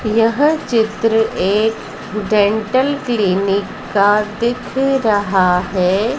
यह चित्र एक डेंटल क्लिनिक का दिख रहा है।